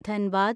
Dhanbad